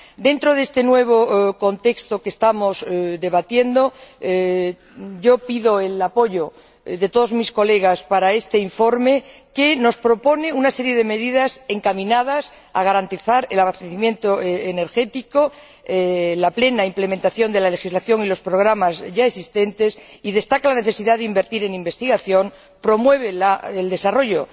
Dentro de este nuevo contexto que estamos debatiendo, pido el apoyo de todos mis colegas para este informe que nos propone una serie de medidas encaminadas a garantizar el abastecimiento energético, la plena implementación de la legislación y los programas ya existentes, y destaca la necesidad de invertir en investigación, promueve el desarrollo